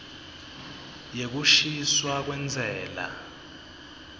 yekukhishwa kwentsela